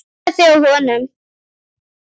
Passaðu þig á honum.